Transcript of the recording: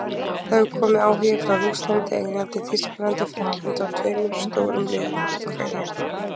Það hefur komið áhugi frá Rússlandi, Englandi, Þýskalandi Frakklandi og tveimur stórum liðum í Úkraínu.